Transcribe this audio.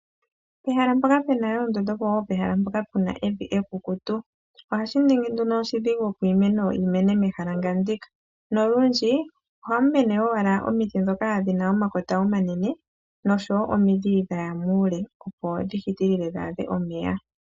Pehala mpoka puna oondundu opo woo pehala mpoka puna evi ekukutu. Ohashi ningi nduno oshidhigu opo iimeno yi mene mehala nga ndika. Nolundji ohamu mene owala omiti ndhoka dhina omakota omanene nosho wo omidhi dhaya muule opo dhi hitilile dhi a dhe omeya.